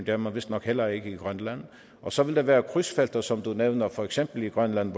er man vistnok heller ikke i grønland og så vil der være krydsfelter som du nævnte for eksempel i grønland